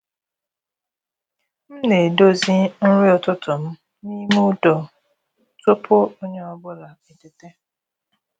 M na-edozi nri ụtụtụ m n’ime udo tupu onye ọ bụla eteta.